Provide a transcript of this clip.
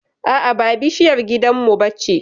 a'a ba bishiyar gidan mu bace